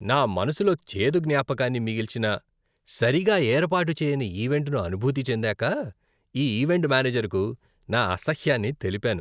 నా మనసులో చేదు జ్ఞాపకాన్ని మిగిల్చిన సరిగా ఏర్పాటు చేయని ఈవెంట్ను అనుభూతి చెందాక ఈ ఈవెంట్ మేనేజర్కు నా అసహ్యాన్ని తెలిపాను.